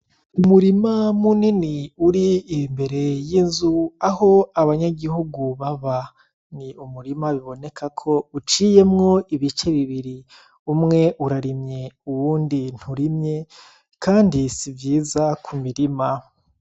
Umurima munini uri imbere y’inzu Aho abanyagihu baba . Ni umurima biboneka ko uciyemwo ibice bibiri , umwe urarimye uwundi nturimye kandi si vyiza ku mirima .